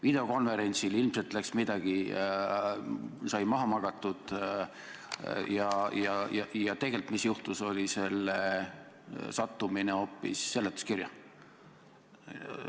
Videokonverentsil sai ilmselt midagi maha magatud ja juhtus see, et tegelikult sattus see tekst hoopis seletuskirja.